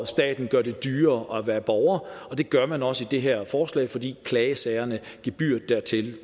staten gør det dyrere at være borger og det gør man også med det her forslag fordi gebyret klagesager